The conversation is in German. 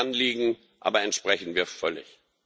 Dem Anliegen aber entsprechen wir völlig.